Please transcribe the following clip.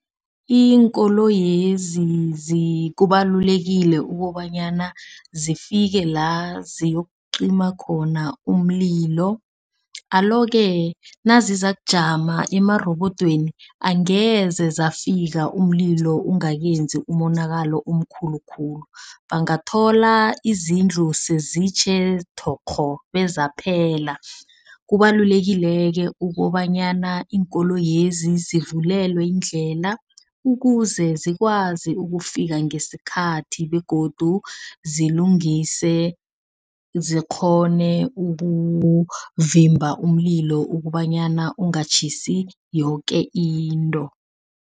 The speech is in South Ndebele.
Iinkoloyezi kubalulekile ukobanyana zifike la ziyokucima khona umlilo. Alo-ke nazizakujama emarobodweni angeze zafika umlilo ungakenzi umonakalo omkhulu khulu. Bangathola izindlu sezitjhe thokgho bezaphela. Kubalulekile-ke ukobanyana iinkoloyezi zivulelwe indlela. Ukuze zikwazi ukufika ngesikhathi begodu zilungise, zikghone ukuvimba umlilo ukobanyana ungatjhisi yoke into.